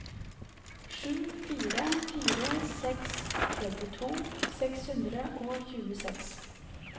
sju fire fire seks trettito seks hundre og tjueseks